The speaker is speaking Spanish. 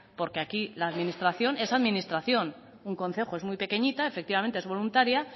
porque aquí la administración es administración un concejo es muy pequeñita efectivamente es voluntaria